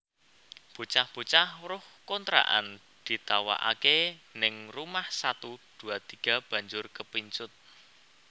Bocah bocah weruh kontrakan ditawaake ning Rumah satu dua tiga banjur kepincut